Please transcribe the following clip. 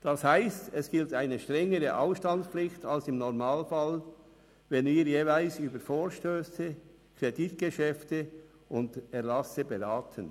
Das heisst, es gilt eine strengere Ausstandspflicht als im Normalfall, wenn wir jeweils über Vorstösse, Kreditgeschäfte und Erlasse beraten.